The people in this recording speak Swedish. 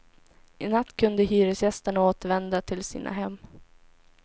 I natt kunde hyresgästerna återvända till sina hem.